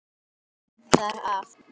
Ég hafði það af.